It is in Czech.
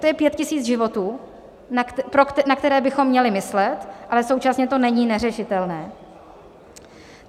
To je pět tisíc životů, na které bychom měli myslet, ale současně to není neřešitelné.